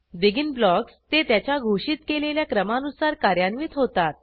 begin blocks ते त्याच्या घोषित केलेल्या क्रमानुसार कार्यान्वित होतात